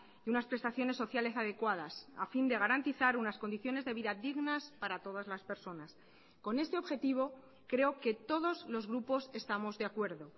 y unas prestaciones sociales adecuadas a fin de garantizar unas condiciones de vida dignas para todas las personas con este objetivo creo que todos los grupos estamos de acuerdo